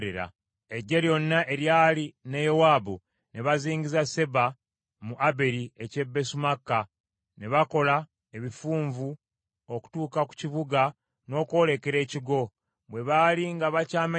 Eggye lyonna eryali ne Yowaabu, ne bazingiza Seba mu Aberi eky’e Besumaaka. Ne bakola ebifunvu okutuuka ku kibuga n’okwolekera ekigo. Bwe baali nga bakyamenya bbugwe,